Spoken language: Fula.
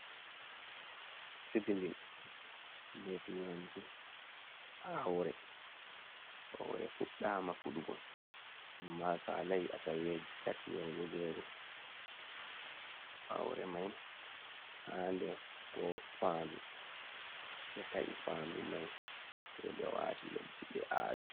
Sitilin be turanci, aure hore fuɗɗama fuɗugo amma salai asaweji tati yahugo jego, aure mai ha der fandu ɓe ta’i faa ndu mai sei be wati leddi ɓe awi.